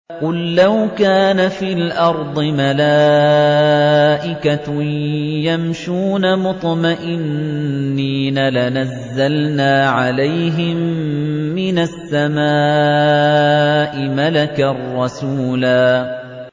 قُل لَّوْ كَانَ فِي الْأَرْضِ مَلَائِكَةٌ يَمْشُونَ مُطْمَئِنِّينَ لَنَزَّلْنَا عَلَيْهِم مِّنَ السَّمَاءِ مَلَكًا رَّسُولًا